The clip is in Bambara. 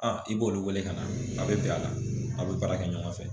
A i b'olu wele ka na a bɛ bi a la a bɛ baara kɛ ɲɔgɔn fɛ